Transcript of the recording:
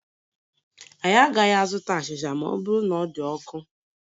Anyị agaghị azụta achịcha ma ọ bụrụ na ọ dị ọkụ